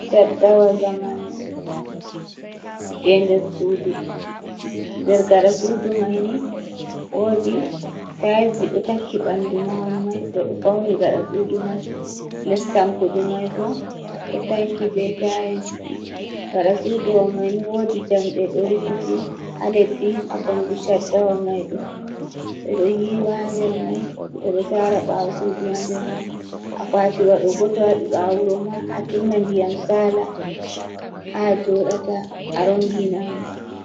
Caddawa zamanu je nder sudu, nder gaɗa sudu mai ni wodi tails ji ɗo tanki ɓanɗu mahol mai ɓe ɗo fauni gaɗa sudu mai, les tankudi mai bo ɗo tanki be tails, gaɗa sudu wa mai ni wodi jamɗe ɗo rufiti ha leddi ha kombi chaddawa maiɗo, ɓe ɗo yiwa ha nder mai, ɓe ɗo tara ɓawo sudu ha nder mai a kwati wa ɗo bo to waɗi ɓawo wuro ma a tunna ndiyam sala ha joɗata a rongina mai.